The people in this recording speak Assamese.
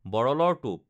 বৰলৰ টোপ